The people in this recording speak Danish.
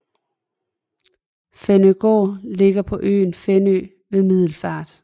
Fænøgård Ligger på øen Fænø ved Middelfart